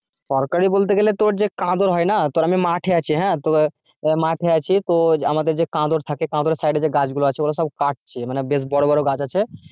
সরকারি বলতে গেলে তোর যে হয় না? তোর আমি মাঠে আছি হ্যাঁ? মাঠে আছি তো আমাদের যে থাকে সাইডে যে গাছগুলা ওগুলো সব কাটছে মানে বেশ বড় বড় গাছ আছে।